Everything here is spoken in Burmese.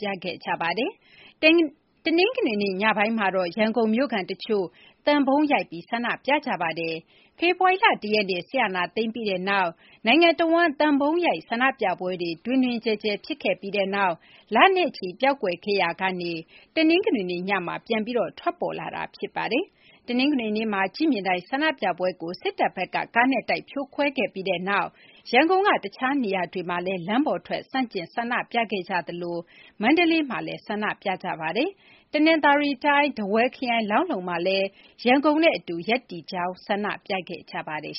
ပြခဲ့ကြပါတယ်။ တနင်္ဂနွေနေ့ ညပိုင်းမှာ ရန်ကုန်မြို့ခံတချို့ သံပုံးရိုက်ပြီး ဆန္ဒပြကြပါတယ်။ ဖေဖော်ဝါရီလ ၁ ရက်နေ့ စစ်အာဏာသိမ်းပြီးနောက်မှာ နိုင်ငံတဝန်း သံပုံးရိုက် ဆန္ဒပြပွဲတွေ တွင်တွင်ကျယ်ကျယ် ဖြစ်ခဲ့ပြီးနောက် လနဲ့ချီ ပျောက်ကွယ်ခဲ့ရာကနေ တနင်္ဂနွေနေ့ညက ပြန်ပြီး ထွက်ပေါ်လာတာ ဖြစ်ပါတယ်။ တနင်္ဂနွေနေ့မှာ ကြည့်မြင်တိုင် ဆန္ဒပြပွဲကို စစ်တပ်ဘက်က ကားနဲ့တိုက် ဖြိုခွင်းခဲ့ပြီးနောက်မှာ ရန်ကုန်က တခြားနေရာတွေမှာလည်း လမ်းပေါ်ထွက် ဆန္ဒပြ ဆန့်ကျင်ခဲ့ကြသလို မန္တလေးမှာလည်း လမ်းပေါ်ထွက် ဆန္ဒပြခဲ့ကြပါတယ်။ တနသာၤရီတိုင်း ထားဝယ်ခရိုင် လောင်းလုံမှာလည်း ရန်ကုန်နဲ့အတူ ရပ်တည်တဲ့အနေနဲ့ ဆန္ဒပြခဲ့ကြပါတယ်